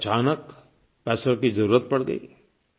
अचानक पैसों की ज़रूरत पड़ गई